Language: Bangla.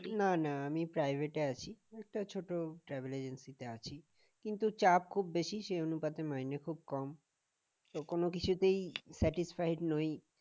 না না আমি private এ আছি একটা ছোট travel agency তে আছি কিন্তু চাপ খুব বেশি সেই অনুপাতে মাইনে খুব কম তো কোন কিছুতেই satisfide নই